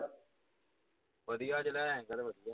ਵਧੀਆ ਜਿਹਾ ਲਹਿੰਗਾ ਅੱਜ